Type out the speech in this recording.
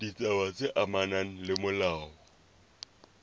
ditaba tse amanang le molao